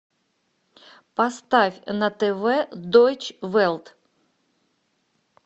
поставь на тв дойч велт